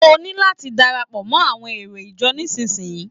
O ní láti darapọ̀ mọ́ àwọn èrò ìjọ nísisìyí.